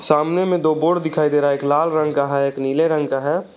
सामने में दो बोर्ड दिखाई दे रहा है एक लाल रंग का है एक नीले रंग का है।